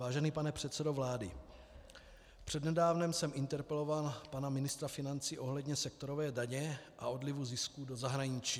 Vážený pane předsedo vlády, přednedávnem jsem interpeloval pana ministra financí ohledně sektorové daně a odlivu zisků do zahraničí.